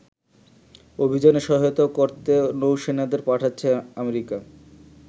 অভিযানে সহায়তা করতে নৌসেনাদের পাঠাচ্ছে আমেরিকা।